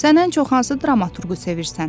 Sən ən çox hansı dramaturqu sevirsən?